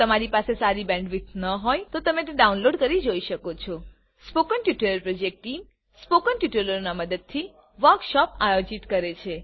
જો તમારી પાસે સારી બેન્ડવિડ્થ ન હોય તો તમે ડાઉનલોડ કરી તે જોઈ શકો છો spoken tutorial project team spoken ટ્યુટોરીયલોની મદદથી વર્કશોપ આયોજિત કરે છે